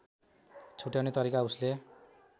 छुट्याउने तरिका उसले